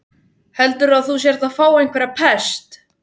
Heldurðu að þú sért að fá einhverja pest?